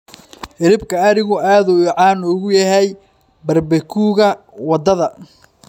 Hilibka arigu aad ayuu caan ugu yahay barbecue-ka waddada.